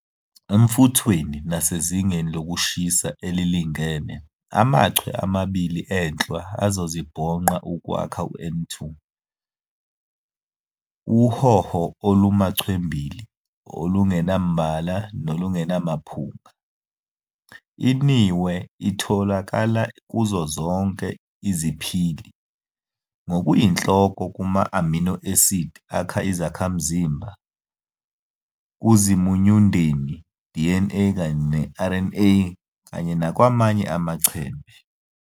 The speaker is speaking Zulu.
Emfuthweni nasezingeni lokushisa elilingene, amachwe amabili enhlwa azozibhonqa ukwakha N2, uhowo olumachwembili olungenambala nolungenaphunga. INihwe itholakala kuzo zonke iziphili, ngokuyinhloko kuma-amino acid, akha izakhamzimba, kuzimunyundeni, DNA kanye neRNA, kanye nakwamanye amachembe.